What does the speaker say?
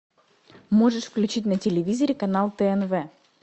можешь включить на телевизоре канал тнв